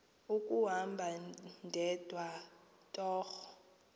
kuhamba ndedwa torho